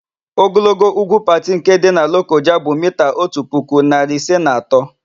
Ogologo úgwú Pati nke dị na Lokoja bụ miita otu puku, narị ise na atọ.